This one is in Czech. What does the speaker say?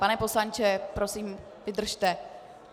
Pane poslanče, prosím, vydržte.